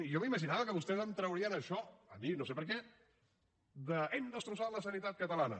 jo m’imaginava que vostès em traurien això a mi no sé per què d’ hem destrossat la sanitat catalana